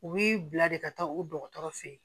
U bi bila de ka taa o dɔgɔtɔrɔ feyi